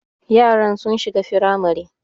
Yaran sun shiga firamare